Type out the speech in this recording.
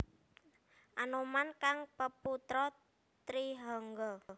Anoman kang peputra Trihangga